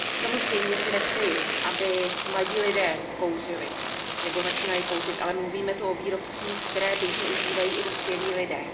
Samozřejmě si nepřeji, aby mladí lidé kouřili nebo začínali kouřit, ale mluvíme tu o výrobcích, které běžně užívají i dospělí lidé.